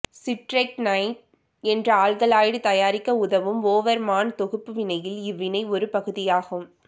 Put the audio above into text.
strychnine என்ற alkaloid தயாரிக்க உதவும் ஓவர்மான் தொகுப்பு வினையில் இவ்வினை ஒரு பகுதியாகும்